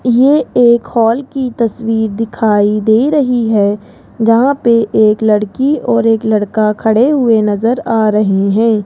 ये एक हॉल की तस्वीर दिखाई दे रही है जहां पर एक लड़की और एक लड़का खड़े हुए नजर आ रहे हैं।